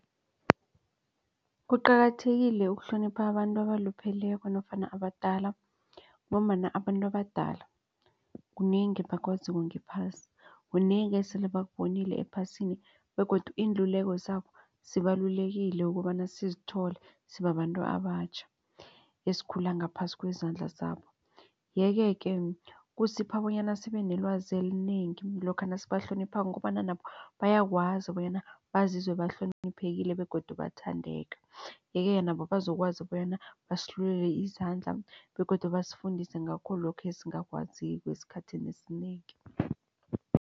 Kuqakathekile ukuhlonipha abantu abalupheleko nofana abadala ngombana abantu abadala kunengi abakwaziko ngephasi kunengi esele bakubonile ephasini begodu iinluleko zabo zibalulekile ukobana sizithole sibabantu abatjha esikhula ngaphasi kwezandla zabo. Yeke-ke kusipha bonyana sibenelwazi elinengi lokha nasibahloniphako kukobana nabo bayakwazi bonyana bazizwe bahloniphekile begodu uyathandeka. Yeke-ke nabo bazokwazi bonyana basilule izandla begodu basifundise ngakho lokhu esingakwaziko esikhathini esinengi.